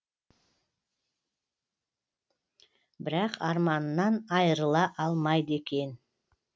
бірақ арманынан айырыла алмайды екен